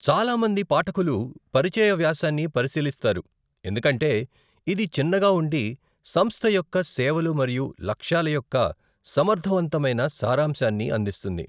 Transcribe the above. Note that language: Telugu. చాలా మంది పాఠకులు పరిచయ వ్యాసాన్ని పరిశీలిస్తారు ఎందుకంటే ఇది చిన్నగా ఉండి సంస్థ యొక్క సేవలు మరియు లక్ష్యాల యొక్క సమర్థవంతమైన సారాంశాన్ని అందిస్తుంది.